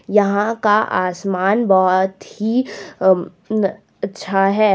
यहां का आसमान बहोत ही अच्छा है।